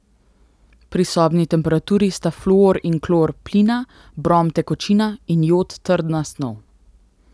Pri sobni temperaturi sta fluor in klor plina, brom tekočina in jod trdna snov.